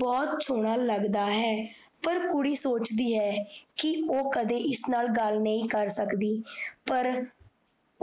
ਬਹੁਤ ਸੋਣਾ ਲੱਗਦਾ ਹੈ। ਪਰ ਕੁੜੀ ਸੋਚਦੀ ਹੈ ਕੀ ਓਹ ਕਦੇ ਇਸ ਨਾਲ ਗੱਲ ਨਹੀਂ ਕਰ ਸਕਦੀ ਪਰ